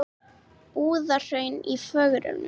Búðahraun í forgrunni.